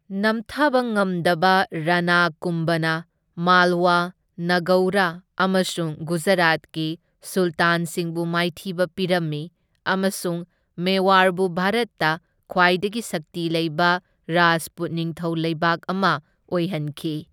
ꯅꯝꯊꯕ ꯉꯝꯗꯕ ꯔꯥꯅꯥ ꯀꯨꯝꯚꯅ ꯃꯥꯜꯋꯥ, ꯅꯥꯒꯧꯔ ꯑꯃꯁꯨꯡ ꯒꯨꯖꯔꯥꯠꯀꯤ ꯁꯨꯜꯇꯥꯟꯁꯤꯡꯕꯨ ꯃꯥꯏꯊꯤꯕ ꯄꯤꯔꯝꯃꯤ ꯑꯃꯁꯨꯡ ꯃꯦꯋꯥꯔꯕꯨ ꯚꯥꯔꯠꯇ ꯈ꯭ꯋꯥꯏꯗꯒꯤ ꯁꯛꯇꯤ ꯂꯩꯕ ꯔꯥꯖꯄꯨꯠ ꯅꯤꯡꯊꯧ ꯂꯩꯕꯥꯛ ꯑꯃ ꯑꯣꯏꯍꯟꯈꯤ꯫